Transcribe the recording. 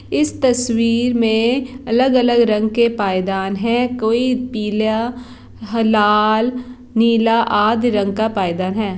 इस तस्वीर में अलग - अलग रंग के पैदान है कोई पीला ह-लाल नीला आद रंग का पैदान है।